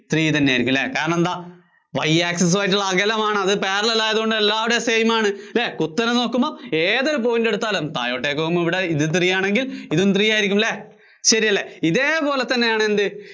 three തന്നെ ആയിരിയ്ക്കും അല്ലേ? കാരണം എന്താ? Y access ഉം ആയിട്ടുള്ള അകലമാണത്. അത് parallel ആയതുകൊണ്ട് എല്ലാടവും same ആണ്. ഉത്തരം നോക്കുമ്പോ ഏതൊരു point എടുത്താലും താഴോട്ടേക്ക് പോകുമ്പോ ഇത് three ആണെങ്കില്‍ ഇതും three ആയിരിയ്ക്കും അല്ലേ? ശരിയല്ലേ? ഇതേപോലെ തന്നെയാണെന്ത്